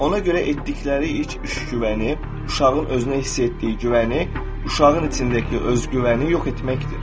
Ona görə etdikləri ilk iş güvəni, uşağın özünə hiss etdiyi güvəni, uşağın içindəki özgüvəni yox etməkdir.